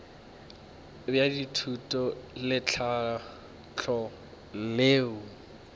bja thuto le tlhahlo leo